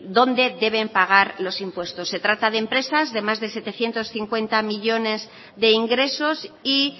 dónde deben pagar los impuestos se trata de empresas de más de setecientos cincuenta millónes de ingresos y